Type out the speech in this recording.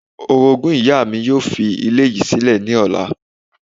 Orogún ìyá mi yóò fi ilé yìí sílẹ̀ ní ọ̀la